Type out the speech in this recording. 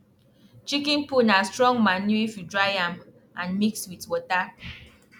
chicken poo na strong manure if you dry am and mix with water